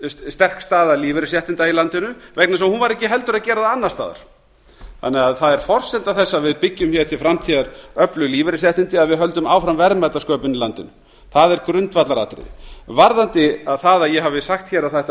sterk staða lífeyrisréttinda í landinu vegna þess að hún var ekki heldur að gera það annars staðar það er því forsenda þess að við byggjum hér til framtíðar öflug lífeyrisréttindi að við höldum áfram verðmætasköpun í landinu það er grundvallaratriði varðandi það að ég hafi sagt hér að það